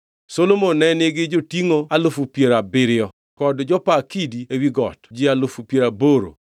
Solomon ne nigi jotingʼo alufu piero abiriyo (70,000) kod jopa kidi ewi got ji alufu piero aboro (80,000),